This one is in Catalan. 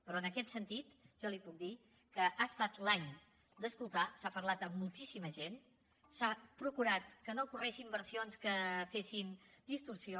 però en aquest sentit jo li puc dir que ha estat l’any d’escoltar s’ha parlat amb moltíssima gent s’ha procurat que no correguessin versions que fessin distorsió